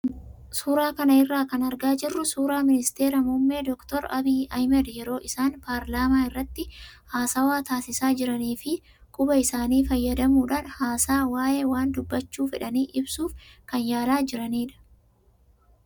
Suuraa kana irraa kan argaa jirru suuraa ministeera muummee doktar Abiyyi Ahmad yeroo isaan paarlaamaa irratti haasawaa taasisaa jiranii fi quba isaanii fayyadamuudhaan haasaa waayee waan dubbachuu fedhanii ibsuuf kan yaalaa jiranidha.